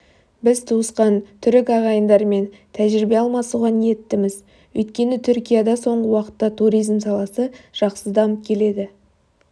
біз туысқан түрік ағайындармен тәжірибе алмасуға ниеттіміз өйткені түркияда соңғы уақытта туризм саласы жақсы дамып келеді